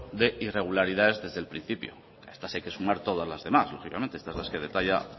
de irregularidades desde el principio a estas hay que sumar todas las demás lógicamente esta es la que detalla